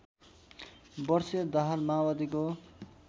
वर्षीय दाहाल माओवादीको